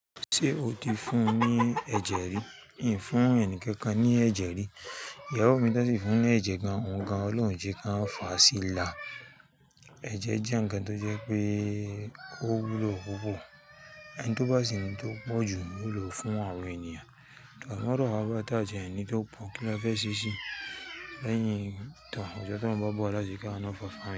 Ṣé o ti fún ní ẹ̀jẹ̀ rí? Mi ò fún ẹnikẹ́ni ní ẹ̀jẹ̀ rí. Ìyàwó mi tẹ́síì fún ní ẹ̀jẹ̀ gan-an, òǹgan Olóunjẹ kan òloun o je kan fà á sí ilà. Ẹ̀jẹ̀ jẹ́ ǹkan tó jẹ́ pé kó wúlò púpọ̀, ẹni tó bá sì ni tó pọ̀jù ń wúlò fún àwọn ènìyàn. Òògùn amọ̀dọ̀ a bá tà jẹ ẹni tó pọ̀n kí ó fẹ́ ṣíṣe lẹ́yìn ìtàn òtítọ́ tí wọ́n bá bọ̀ láti ká iná fàfà mi.